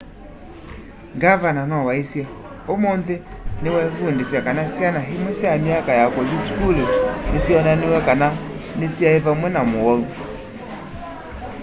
ngavana no waisye ũmũnthĩ nĩtwevundĩsya kana syana imwe sya myaka ya kũthi sukulu nĩsyonaniw'e kana nĩsinaĩ vamve na mũwau